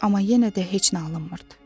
Amma yenə də heç nə alınmırdı.